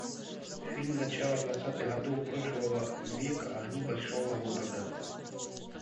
фильм начала двадцатых годов прошлого века огни большого города